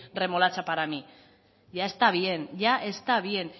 remolacha para mí ya está bien ya está bien